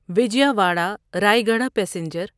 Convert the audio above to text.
Vijayawada Rayagada passenger